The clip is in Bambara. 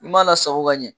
I m'a lasago ka ɲɛ